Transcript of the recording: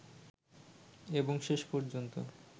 এবং শেষ পর্যন্ত